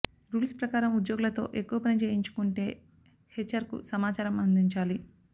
rules ప్రకారం ఉద్యోగులతో ఎక్కువ పని చేయించుకుంటే హెచ్ఆర్కు సమాచారం అందించాలి